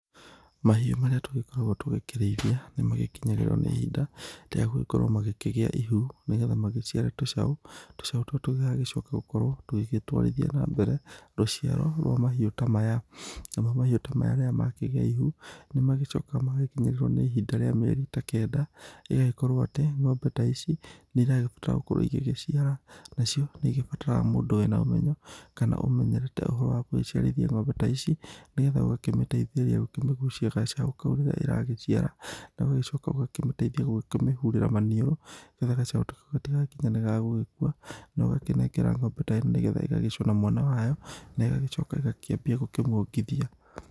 Mahiũ marĩa tũkoragwo tũkĩrĩithia ,nĩ magĩkĩmyagĩrĩrwo nĩ ihinda, rĩa gũgĩkorwo makĩgĩa ihu nĩgetha magĩciare tũcao, tũcao tũtũ tũgagĩcoka gũkorwo tũgĩtwarithia na mbere rũciaro rwa mahiũ ta maya, namo mahiũ ta maya rĩrĩa makĩgĩa ihu nĩ macokaga magagĩkinyĩrĩrwo nĩ ihinda rĩa mĩeri ta kenda ĩgagĩkorwo atĩ ng'ombe ta ici nĩ iragĩbatara gũkorwo igĩciara nacio nĩ igĩbataraga mũndũ wĩna ũmenyo kana ũmenyerete ũhoro wa gũgĩciarithia ng'ombe ta ici nĩgetha ũgakĩmĩteithĩrĩria gũkĩmĩgũcia gacaũ kau rĩrĩa ĩragĩciara na ũgagĩcoka ũgakĩmĩteithia gũkĩmĩhũrĩra manĩũrũ nĩgetha gacao ta kau gatĩgakinye nĩ gagũgĩkua nogakĩnengera ng'ombe ta ĩno nĩgetha ĩgagĩcũna mwana wayo na igagĩcoka ĩgakĩambia kũongithia.